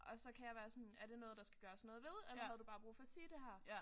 Og så kan jeg være sådan er det noget der skal gøres noget ved eller havde du bare brug for at sige det her